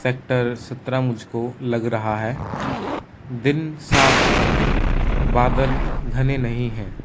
Sector सत्रह मुझ को लग रहा है दिन साफ है बादल घने नहीं है।